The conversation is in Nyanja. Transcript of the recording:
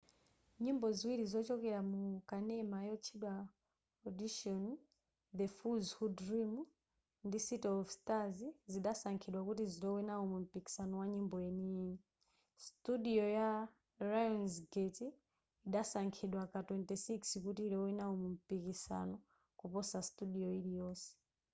nyimbo ziwiri zochokera mu kanema yotchedwa audition the fools who dream ndi city of stars zidasankhidwa kuti zilowe nawo mumpikisano wa nyimbo yeniyeni. studio ya lionsgate idasankhidwa ka 26 kuti ilowe nawo mumpikisano-kuposa studio iliyonse